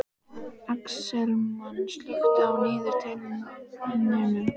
Axelma, slökktu á niðurteljaranum.